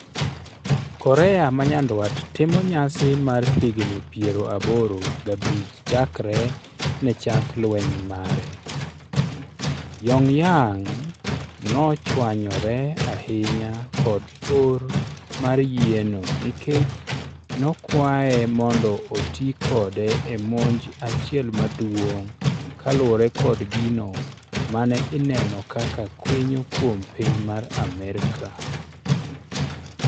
Korea manyandwat timo nyasi mar higni piero aboro gabich chakre nechak lweny mare. Pyongyang nochwanyore ahinya kod or mar yieno nikechi nokwae mondo otii kode ee 'Monj achiel maduong' kaluore kod gino mane ineno kaka kwinyo kuom piny mar Amaerika